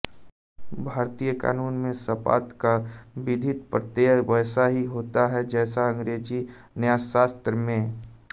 भारतीय कानून में सपात्त का विधिक प्रत्यय वैसा ही होता है जैसा अंग्रेजी न्यायशास्त्र में